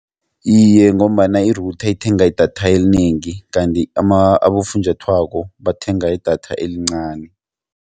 Iye, ngombana i-router ithenga idatha elinengi kanti abofunjathwako bathenga idatha elincani.